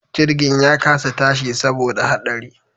Jirgin ya kasa tashi saboda haɗari